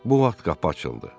Bu vaxt qapı açıldı.